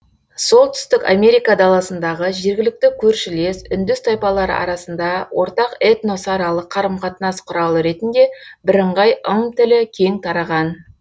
солтүстік америка даласындағы жергілікті көршілес үндіс тайпалары арасында ортақ этносаралық қарым қатынас құралы ретінде бірыңғай ым тілі кең тараған